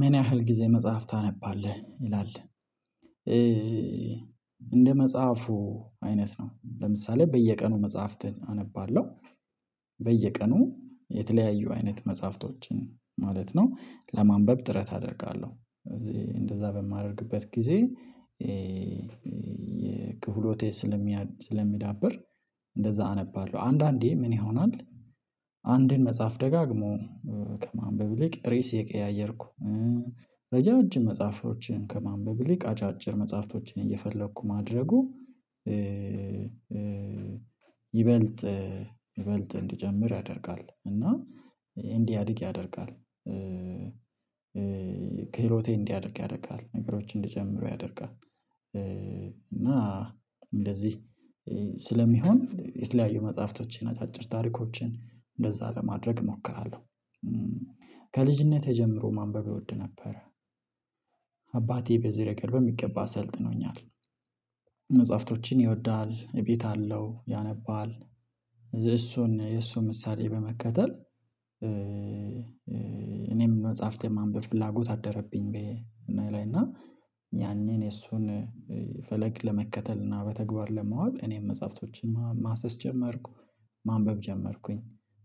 ምን ያህል ጊዜ መጽሐፍ ታነባለህ ይላል? እንደ መጽሐፉ አይነት ነው ለምሳሌ በየቀኑ መጽሐፍትን አነባለሁ። በየቀኑ የተለያዩ አይነት መጽሐፍቶችን ማለት ነው ለማንበብ ጥረት አደርጋለሁ እዚህ እንደዛ በማደርግበት ጊዜ የክህሎቴ ስለሚያድ ስለሚዳብር። እንደዛ አነባለሁ አንዳንዴ ምን ይሆናል አንዴን መጽሐፍ ደጋግሞ ከማንበብ ይልቅ ርዕስ እየቀያየርኩ ረጃጅም መጽሐፎችን ከማንበብ ይልቅ አጫጭር መጽሐፍቶችን እየፈለግሁ ማድረጉ ይበልጥ ይበልጥ እንድጀምር ያደርጋል እና እንዲያድግ ያደርጋል። ክህሎቴ እንዲያድግ ያደርጋል ነገሮች እንድጀምረው ያደርጋል እና እንደዚህ ስለሚሆን የተለያዩ መጽሐፍቶች አጫጭር ታሪኮችን እንደዛ ለማድረግ እሞክራለሁ። ከልጅነት ጀምሮ ማንበብ እወድ ነበረ አባቴ በዚህ ረገድ በሚገባ አሰልጥኖኛል። መጽሐፍቶችን ይወዳል እቤት አለው ያነባል እሱን የእሱ ምሳሌ በመከተል። እኔም መጽሐፍቴን ማንበብ ፍላጎት አደረብኝ ብዬ እኔ ላይ እና ያንን የሱን ፈለግ ለመከተል እና በተግባር ለማዋል እኔም መጽሐፍቶችን ማሰስ ጀመርኩ ማንበብ ጀመርኩኝ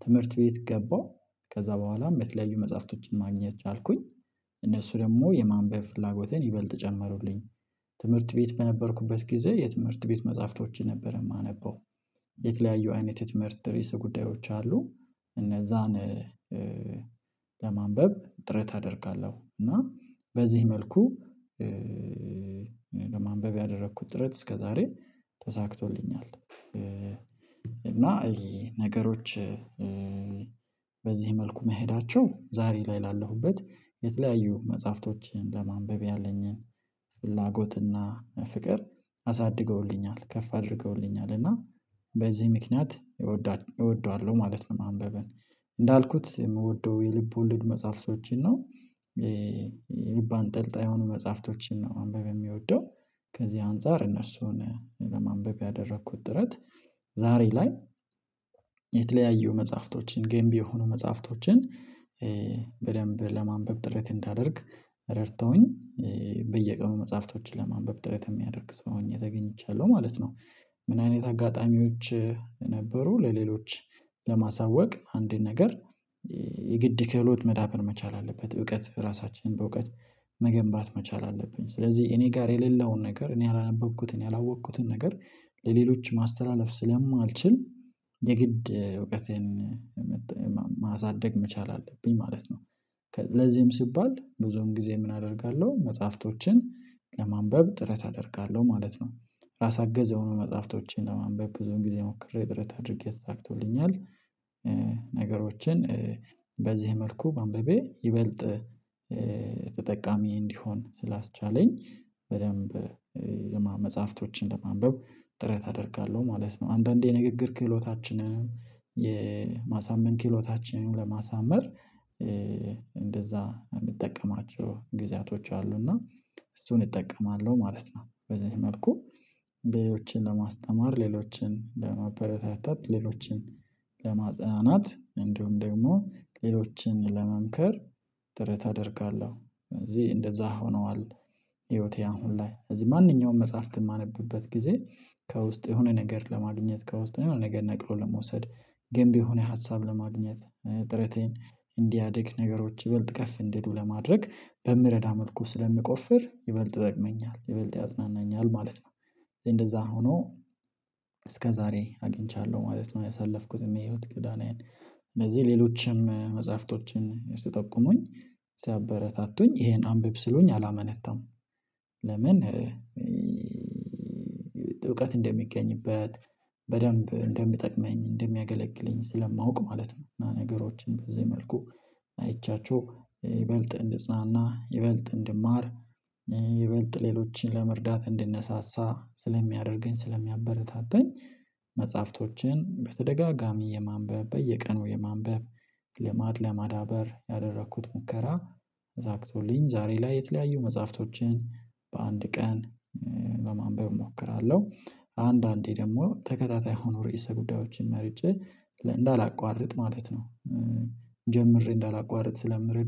ትምህርት ቤት ገባሁ ከዛ በኋላም የተለያዩ መጽሐፍቶችን ማግኘት ቻልኩኝ እነሱ ደግሞ የማንበብ ፍላጎቴን ይበልጥ ጨመሩልኝ። ትምህርት ቤት በነበርኩበት ጊዜ የትምህርት ቤት መጽሐፍቶች ነበር የማነበው የተለያዩ አይነት የትምህርት ርዕሰ ጉዳዮች አሉ እነዛን ለማንበብ ጥረት አደርጋለሁ እና በዚህ መልኩ ለማንበብ ያደረኩት ጥረት እስከዛሬ ተሳክቶልኛል። እና ነገሮች በዚህ መልኩ መሄዳቸው ዛሬ ላይ ላለሁበት የተለያዩ መጽሐፍቶችን ለማንበብ ያለኝን ፍላጎትና ፍቅር አሳድገውልኛል ከፍ አድርገውልኛል እና በዚህ ምክንያት እወደዋለሁ ማለት ነው። ማንበበን እንዳልኩት የምወደው የልብ ወልድ መጽሐፍቶችን ነው የልብ አንጠልጣይ የሆኑ መጽሐፍቶችን ነው ማንበብ የምወደው። ከዚህ አንፃር እነሱን ለማንበብ ያደረኩት ጥረት ዛሬ ላይ የተለያዩ መጽሐፍቶችን ገንቢ የሆኑ መጽሐፍቶችን በደንብ ለማንበብ ጥረት እንዳደርግ ረድተውኝ በየቀኑ መጽሐፍቶችን ለማንበብ ጥረት የሚያደርግ ሰው ሆኜ ተገኝቻለሁ ማለት ነው። ምን አይነት አጋጣሚዎች? ነበሩ ለሌሎች ለማሳወቅ አንድን ነገር የግድ ከህሎት መዳበር መቻል አለበት እውቀት ራሳችንን በእውቀት መገንባት መቻል አለብን ስለዚህ እኔ ጋር የሌለውን ነገር እኔ ያላነበብኩትን ያላወቅኩትን ነገር ለሌሎች ማስተላለፍ ስለማልችል የግድ እውቀቴን ማሳደግ መቻል አለብኝ ማለት ነው። ለዚህም ሲባል ብዙም ጊዜ ምን አደርጋለሁ መጽሐፍቶችን ለማንበብ ጥረት አደርጋለሁ ማለት ነው ራስ አገዝ የሆኑ መጽሐፍቶችን ለማንበብ ብዙም ጊዜ ሞክሬ ጥረት አድርጌ ተሳክቶልኛል ነገሮችን በዚህ መልኩ ማንበቤ ይበልጥ ተጠቃሚ እንዲሆን ስላስቻለኝ በደንብ ለመጽሐፍቶችን ለማንበብ ጥረት አደርጋለሁ ማለት ነው። አንዳንዴ የንግግር ክህሎታችንን የማሳመን ክህሎታችንን ለማሳመር እንደዛ የምጠቀማቸው ጊዜያቶች አሉ እና እሱን እጠቀማለሁ ማለት ነው በዚህ መልኩ ሌሎችን ለማስተማር ሌሎችን ለማበረታታት ሌሎችን ለማጽናናት እንዲሁም ደግሞ ሌሎችን ለመንከር ጥረት አደርጋለሁ ስለዚህ እንደዛ ሆነዋል። ህይወቴ አሁን ላይ እዚህ ማንኛውም መጽሐፍት በማነብበት ጊዜ ከውስጥ የሆነ ነገር ለማግኘት ከውስጥ ነገር ነቅሎ ለመውሰድ ገንቢ የሆነ ሀሳብ ለማግኘት ጥረቴን እንዲያድግ ነገሮች ይበልጥ ከፍ እንዲሉ ለማድረግ በምረዳ መልኩ ስለምቆፍር ይበልጥ ደግመኛል ይበልጥ ያጽናናኛል ማለት ነው። እንደዛ ሆኖ እስከዛሬ አግኝቻለሁ ማለት ነው። ያሳለፍኩት የህይወት ጎዳናዬን እንደዚህ ሌሎችም መጽሐፍቶችን ስትጠቁሙኝ ሲያበረታቱኝ ይሄን አንብብ ስሉኝ አላመነታም። ለምን እውቀት እንደሚገኝበት በደንብ እንደምጠቅመኝ እንደሚያገለግለኝ ስለማውቅ ማለት ነው። እና ነገሮችን በዚህ መልኩ አይቻቸው ይበልጥ እንድጽናና ይበልጥ እንድማር ይበልጥ ሌሎችን ለመርዳት እንድነሳሳ ስለሚያደርገኝ ስለሚያበረታተኝ መጽሐፍቶችን በተደጋጋሚ የማንበብ በየቀኑ የማንበብ ልማድ ለማዳበር ያደረኩት ሙከራ ዛክቶልኝ ዛሬ ላይ የተለያዩ መጽሐፍቶችን በአንድ ቀን ለማንበብ እሞክራለሁ። አንዳንዴ ደግሞ ተከታታይ ሆኖ ርዕሰ ጉዳዮችን መርጬ እንዳላቋርጥ ማለት ነው ጀምሬ እንዳላቋርጥ ስለምረዳኝ